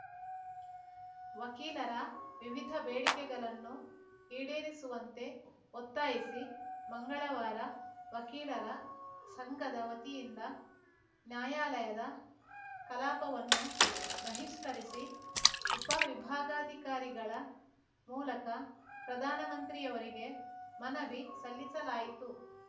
ವಕೀಲರ ವಿವಿಧ ಬೇಡಿಕೆಗಳನ್ನು ಈಡೇರಿಸುವಂತೆ ಒತ್ತಾಯಿಸಿ ಮಂಗಳವಾರ ವಕೀಲರ ಸಂಘದ ವತಿಯಿಂದ ನ್ಯಾಯಾಲಯದ ಕಲಾಪವನ್ನು ಬಹಿಷ್ಕರಿಸಿ ಉಪವಿಭಾಗಾಧಿಕಾರಿಗಳ ಮೂಲಕ ಪ್ರಧಾನಮಂತ್ರಿಯವರಿಗೆ ಮನವಿ ಸಲ್ಲಿಸಲಾಯಿತು